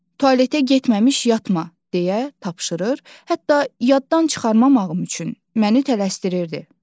Tualetə getməmiş yatma" deyə tapşırır, hətta yaddan çıxarmamağım üçün məni tələsdirirdi.